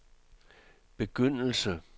begyndelse